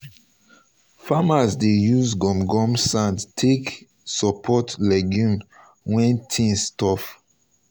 farmers dey use gum gum sand take support legumes when things tough.